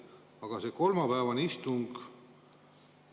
Aga see kolmapäevane istung?